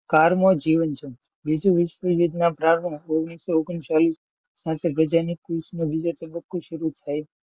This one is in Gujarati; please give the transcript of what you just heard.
કારમો જીવનનો. બીજો વિશ્વ પ્રરંભ ઓગણસો ઓગણ ચાલીસ થે ગાજનિકા તબકો સારું થયો.